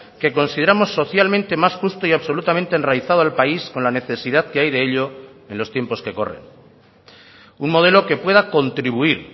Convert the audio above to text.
que consideramos socialmente más justo y absolutamente enraizado al país con la necesidad que hay de ello en los tiempos que corren un modelo que pueda contribuir